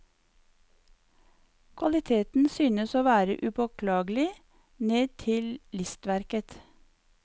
Kvaliteten synes å være upåklagelig, ned til listverket.